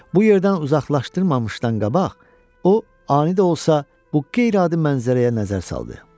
Bu yerdən uzaqlaşdırmamışdan qabaq, o ani də olsa bu qeyri-adi mənzərəyə nəzər saldı.